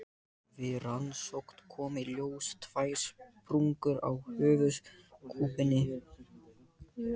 Við rannsókn komu í ljós tvær sprungur á höfuðkúpunni.